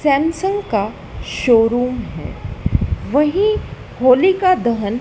Samsung का showroom है वही होलिका दहन--